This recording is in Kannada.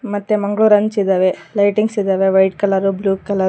ಮತ್ತೆ ಮಂಗ್ಳೂರ್ ಹಂಚ್ ಇದಾವೆ ಲೈಟಿಂಗ್ಸ್ ಇದಾವೆ ವೈಟ್ ಕಲರ್ ಬ್ಲೂ ಕಲರ್ .